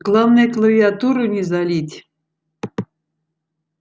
главное клавиатуру не залить